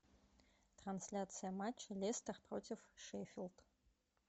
трансляция матча лестер против шеффилд